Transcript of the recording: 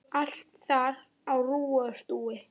Allt þar á rúi og stúi.